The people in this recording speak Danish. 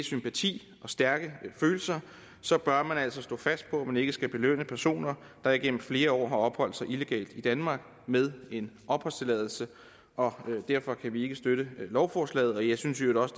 sympati og stærke følelser så bør man altså stå fast på at man ikke skal belønne personer der igennem flere år har opholdt sig illegalt i danmark med en opholdstilladelse og derfor kan vi ikke støtte lovforslaget jeg synes i øvrigt